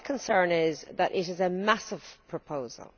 My concern is that it is a massive proposal.